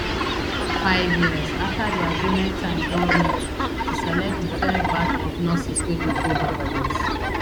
five years afta di agreement time don reach to select di third batch of nurses wey go go barbados